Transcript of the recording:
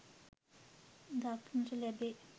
දක්නට ලැබේ